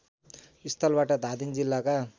स्थलबाट धादिङ जिल्लाका